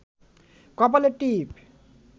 কপালে টিপ